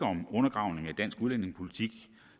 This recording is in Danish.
om undergravning af dansk udlændingepolitik